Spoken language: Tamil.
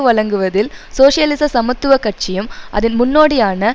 வழங்குவதில் சோசியலிச சமத்துவ கட்சியும் அதன் முன்நோடியான